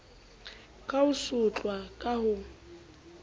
ka ho sotlwa ka ho